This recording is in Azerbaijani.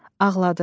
Ağladı.